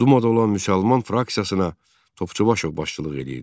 Dumada olan müsəlman fraksiyasına Topçubaşov başçılıq edirdi.